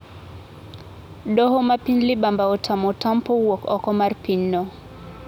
Doho mapiny libamba otamo Otampo wuok oko mar pinyno.